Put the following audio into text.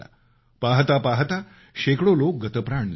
पाहता पाहता शेकडो लोक गतप्राण झाले